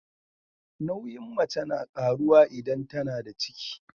Nauyin mace na karuwa idan tAnada ciki